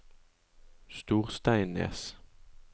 Storsteinnes